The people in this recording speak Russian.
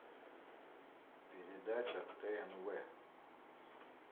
передача тнв